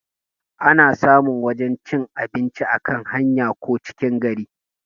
Ana samun wajan cin abinci a kan hanya ko cikin gari